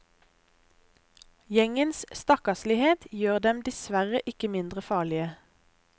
Gjengens stakkarslighet gjør dem dessverre ikke mindre farlige.